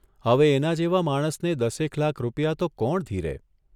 હવે એના જેવા માણસને દસેક લાખ રૂપિયા તો કોણ ઘીરે